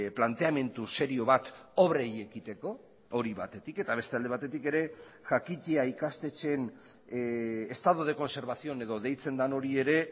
planteamendu serio bat obrei ekiteko hori batetik eta beste alde batetik ere jakitea ikastetxeen estado de conservación edo deitzen den hori ere